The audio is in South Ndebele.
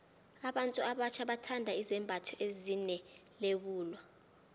abantu abatjha bathanda izembatho ezine lebula